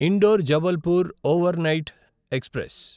indoor Jabalpur overnight express